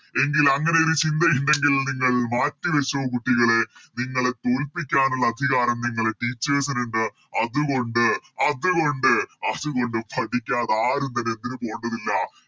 എങ്കിൽ അങ്ങനെയൊരു ചിന്ത ഇണ്ടെങ്കിൽ നിങ്ങൾ മാറ്റി വെച്ചോ കുട്ടികളെ നിങ്ങളെ തോൽപ്പിക്കാനുള്ള അധികാരം നിങ്ങളെ Teachers ന് ഇണ്ട് അതുകൊണ്ട് അതുകൊണ്ട് അതുകൊണ്ട് പഠിക്കാതെ ആരും തന്നെ എന്തിനു പോണ്ടതില്ല